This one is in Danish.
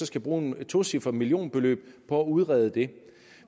skal bruge et tocifret millionbeløb på at udrede det